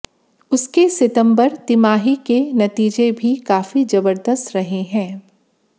उसके सितंबर तिमाही के नतीजे भी काफी जबरदस्त रहे हैं